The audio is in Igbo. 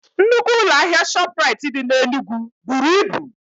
Nnukwu ụlọ ahịa ShopRite dị N'Enugu buru ibu.